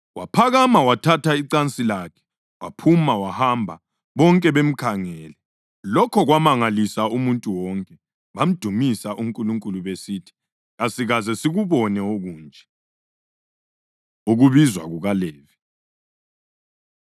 Waphakama wathatha icansi lakhe waphuma wahamba bonke bemkhangele. Lokho kwamangalisa umuntu wonke, bamdumisa uNkulunkulu besithi, “Kasikaze sikubone okunje!” Ukubizwa KukaLevi